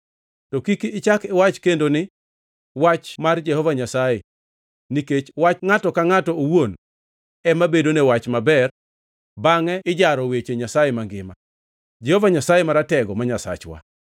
To kik ichak iwach kendo ni, ‘wach mar Jehova Nyasaye,’ nikech wach ngʼato ka ngʼato owuon ema bedone wach maber bangʼe ijaro weche Nyasaye mangima, Jehova Nyasaye Maratego ma Nyasachwa.